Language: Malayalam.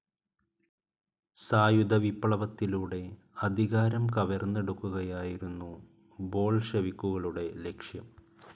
സായുധ വിപ്ലവത്തിലൂടെ അധികാരം കവർന്നെടുക്കുകയായിരുന്നു ബോൾഷെവിക്കുകളുടെ ലക്ഷ്യം.